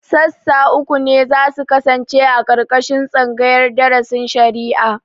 Sassa uku ne za su kasance a ƙarƙashin tsangayar darasin shari'a